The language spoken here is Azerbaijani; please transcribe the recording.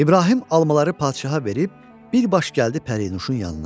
İbrahim almaları padşaha verib bir baş gəldi Pərinuşun yanına.